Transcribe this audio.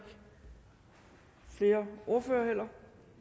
flere ordførere